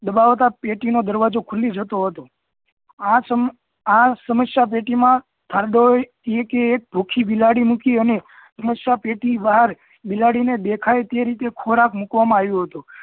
દબાવતાં જ પેટી નો દરવાજો ખુલી જતો હતો આ સમસ્યા પેટી માં thord thardo એ એક ભુખી બિલાડી મૂકી અને સમસ્યા પેટી ની બહાર બિલાડી ને દેખાય એ રીતે ખોરાક મૂકવા માં આવ્યો હતો